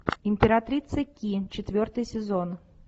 императрица ки четвертый сезон